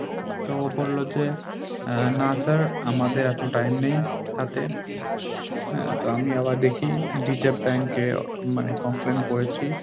তো ও বলল যে না স্যার আমাদের এত time নেই হাতে, হ্যাঁ তো আমি আবার দেখি Reserve bank মানে complain করেছি।